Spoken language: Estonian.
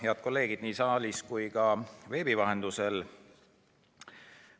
Head kolleegid nii saalis kui ka veebis!